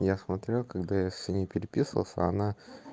я смотрел когда я с ней переписывался она